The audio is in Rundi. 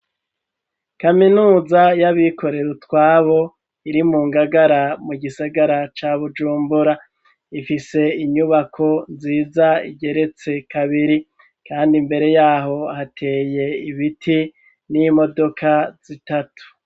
Kaminuza y'abikorere utwabo iri mu ngagara mu gisagara ca bujumbura ifise inyubako nziza igeretse kabiri kandi mbere yaho hateye ibiti n'imodoka zitatu.